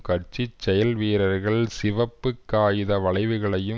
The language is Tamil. கட்சி செயல் வீரர்கள் சிவப்பு காகித வளைவுகளையும்